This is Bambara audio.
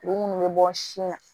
Kuru munnu be bɔ sin na